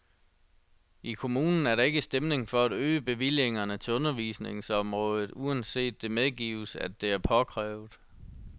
I kommunen er der ikke stemning for at øge bevillingerne til undervisningsområdet, uanset at det medgives, at det er påkrævet.